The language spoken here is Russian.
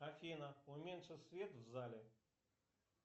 афина уменьши свет в зале